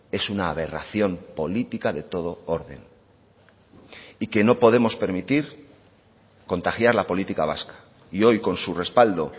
es una aberración política de todo orden y que no podemos permitir contagiar la política vasca y hoy con su respaldo